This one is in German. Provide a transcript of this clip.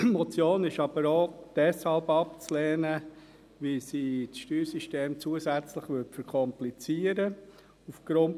Die Motion ist jedoch auch deshalb abzulehnen, weil sie das Steuersystem zusätzlich verkomplizieren würde.